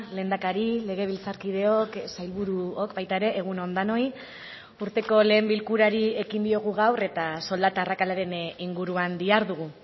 lehendakari legebiltzarkideok sailburuok baita ere egun on denoi urteko lehen bilkurari ekin diogu gaur eta soldata arrakalaren inguruan dihardugu